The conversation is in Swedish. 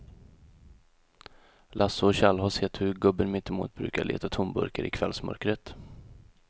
Lasse och Kjell har sett hur gubben mittemot brukar leta tomburkar i kvällsmörkret.